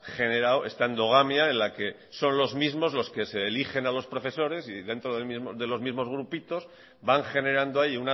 generado esta endogamia en la que son los mismos los que se eligen a los profesores y dentro de los mismos grupitos van generando ahí